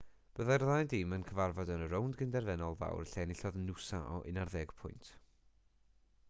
byddai'r ddau dîm yn cyfarfod yn y rownd gyn-derfynol fawr lle enillodd noosa o 11 pwynt